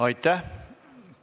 Aitäh!